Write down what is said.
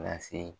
Lase